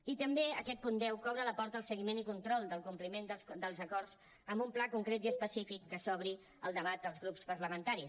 i també aquest punt deu que obre la porta al seguiment i control del compliment dels acords amb un pla concret i específic que s’obri el debat als grups parlamentaris